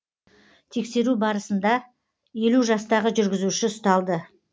тексеру барысында елу жастағы жүргізуші ұсталды